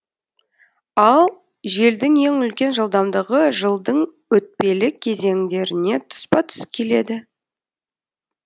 ал желдің ең үлкен жылдамдығы жылдың өтпелі кезеңдеріне тұспа тұс келеді